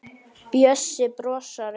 Bjössi brosir.